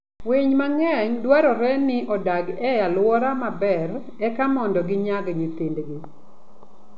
Winy mang'eny dwarore ni odag e alwora maber eka mondo ginyag nyithindgi.